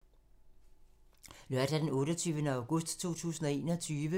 Lørdag d. 28. august 2021